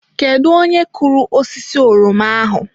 Kedu onye kụrụ osisi oroma ahụ?